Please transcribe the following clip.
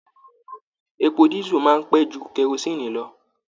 Èpò disu máa n pẹ jù kerosinni lọ.